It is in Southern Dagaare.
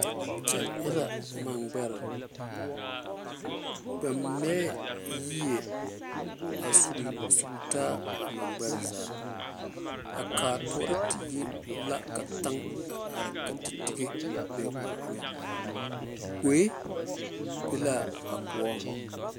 Kyɛ e la mangbɛre ba mɛɛ yie a sugli sugli taa a mangbɛre zaa a kaatoore tie la ka taŋ a are ka tetige a be o eŋɛ gboe be la a koɔŋ.